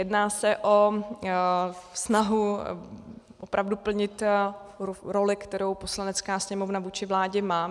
Jedná se o snahu opravdu plnit roli, kterou Poslanecká sněmovna vůči vládě má.